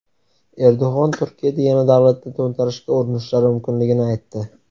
Erdo‘g‘on Turkiyada yana davlatni to‘ntarishga urinishlari mumkinligini aytdi .